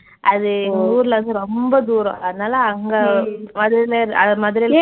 அது எங்க ஊர்லருந்து ரொம்ப தூரம். அதனால அங்க அது வந்து அது மதுரைல